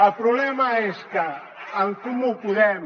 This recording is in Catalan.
el problema és que en comú podem